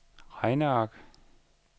regneark